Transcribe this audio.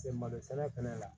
malo sɛnɛ kɛnɛ la